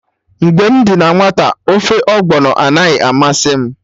Mgbe m dị na nwata, ofe Ọgbọnọ anaghị amasị m